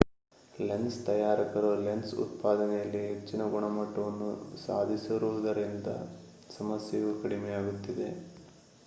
lens ತಯಾರಕರು lens ಉತ್ಪಾದನೆಯಲ್ಲಿ ಹೆಚ್ಚಿನ ಗುಣಮಟ್ಟವನ್ನು ಸಾಧಿಸಿರುವುದರಿಂದ ಸಮಸ್ಯೆಯು ಕಡಿಮೆಯಾಗುತ್ತಿದೆ